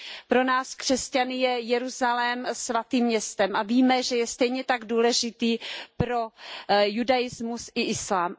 Pro nás křesťany je Jeruzalém svatým městem a víme, že je stejně tak důležitý jak pro judaismus, tak pro islám.